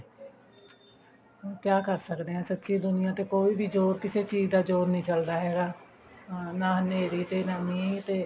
ਹੁਣ ਕਿਆ ਕਰਦੇ ਹਾਂ ਸੱਚੀ ਦੁਨੀਆ ਤੇ ਕੋਈ ਵੀ ਜੋਰ ਕਿਸੇ ਚੀਜ਼ ਦਾ ਜੋਰ ਨੀ ਚੱਲਦਾ ਹੈਗਾ ਨਾ ਹਨੇਰੀ ਤੇ ਨਾ ਮੀਂਹ ਤੇ